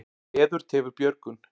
Veður tefur björgun.